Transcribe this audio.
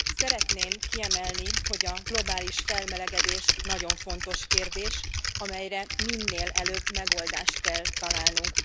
Szeretném kiemelni, hogy a globális felmelegedés nagyon fontos kérdés, amelyre minél előbb megoldást kell találnunk.